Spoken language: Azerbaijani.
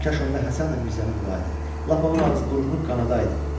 Kaş onda Həsən də Mirzəni vuraıydı, lap onun ağız-burnunu qanadaydı.